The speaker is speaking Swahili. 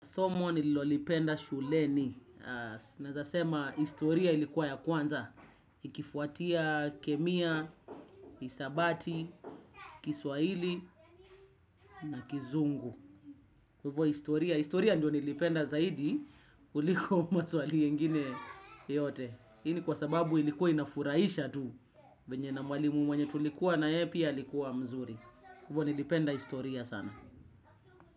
Somo nililolipenda shuleni, naeza sema historia ilikuwa ya kwanza, ikifuatia kemia, hisabati, kiswaili, na kizungu. Hivyo historia, historia ndio nilipenda zaidi, kuliko maswali yengine yote. Hii ni kwa sababu ilikuwa inafurahisha tu, venye na mwalimu mwenye tulikuwa naye pia alikuwa mzuri. Hivyo nilipenda historia sana.